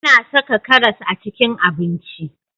A na saka karas a cikin abinci